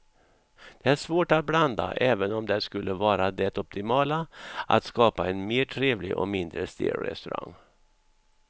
Det är svårt att blanda även om det skulle vara det optimala att skapa en mer trevlig och mindre stel restaurang.